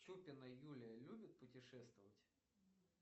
чупина юлия любит путешествовать